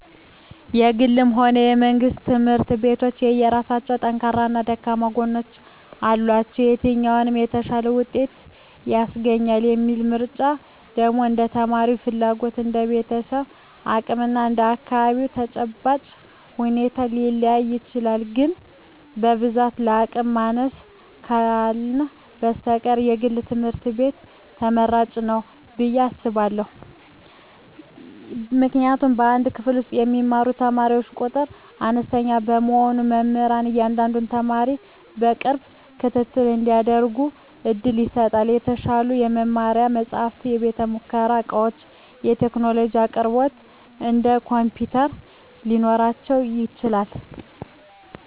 የግልም ሆነ የመንግሥት ትምህርት ቤቶች የየራሳቸው ጠንካራና ደካማ ጎኖች አሏቸው። የትኛው "የተሻለ ውጤት" ያስገኛል የሚለው ምርጫ ደግሞ እንደ ተማሪው ፍላጎት፣ እንደ ቤተሰቡ አቅም እና እንደ አካባቢው ተጨባጭ ሁኔታ ሊለያይ ይችላል። ግን በብዛት የአቅም ማነስ ካልህነ በስተቀር የግል ትምህርት ቤት ትመራጭ ንው ብየ አስባእሁ። ምክንያቱም በአንድ ክፍል ውስጥ የሚማሩ ተማሪዎች ቁጥር አነስተኛ በመሆኑ መምህራን ለእያንዳንዱ ተማሪ የቅርብ ክትትል እንዲያደርጉ ዕድል ይሰጣል። የተሻሉ የመማሪያ መጻሕፍት፣ የቤተ-ሙከራ ዕቃዎችና የቴክኖሎጂ አቅርቦቶች (እንደ ኮምፒውተር) ሊኖራቸው ይችላል።